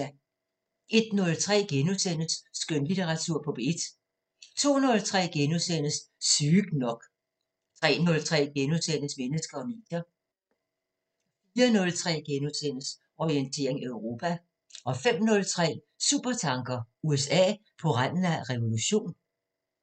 01:03: Skønlitteratur på P1 * 02:03: Sygt nok * 03:03: Mennesker og medier * 04:03: Orientering Europa * 05:03: Supertanker: USA på randen af revolution?